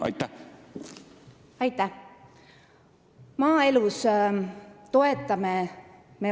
Aitäh!